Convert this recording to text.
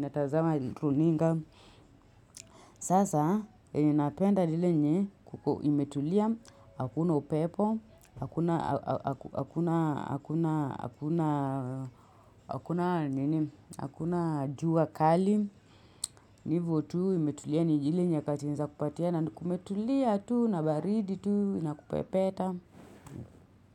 natazama runinga. Sasa inapenda nile nye kuko imetulia, hakuna upepo, hakuna jua kali, nivu tu imetulia ni iile nye kati naeza kupatia na kumetulia tu na baridi tu na kupepeta.